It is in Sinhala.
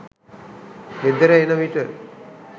ගෙදර එන විට